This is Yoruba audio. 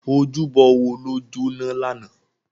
Ójúbò wó ló jóná làná?